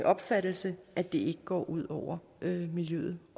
opfattelse at det ikke går ud over miljøet